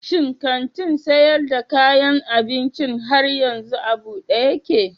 Shi kantin sayar da kayan abincin har yanzu a buɗe yake?